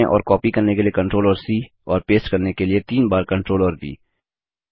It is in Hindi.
पेड़ चुनें और कॉपी करने के लिए ctrl और सी और पेस्ट करने के लिए तीन बार Ctrl और व